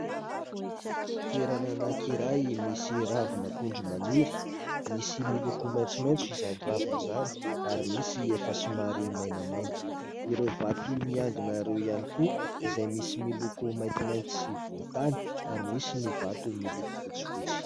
Toerana anankiray misy ravin'akondro maniry, misy miloko maitsomaitso izany ravina izany ary misy efa somary mainamaina, ireo vato miangona ireo ihany koa izay misy miloko maintimainty sy volontany ary misy ny vato miloko fotsifotsy.